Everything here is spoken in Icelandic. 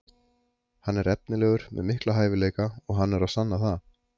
Hann er efnilegur með mikla hæfileika og hann er að sanna það.